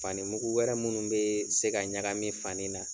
Fani mugu wɛrɛ munnu bee se ka ɲagamin fani na